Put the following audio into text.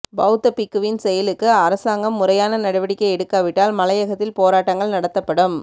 பௌத்த பிக்குவின் செயலுக்கு அரசாங்கம் முறையான நடவடிக்கை எடுக்காவிட்டால் மலையகத்தில் போராட்டங்கள் நடத்தப்படும்